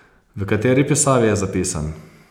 V kateri pisavi je zapisan?